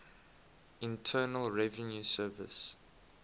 internal revenue service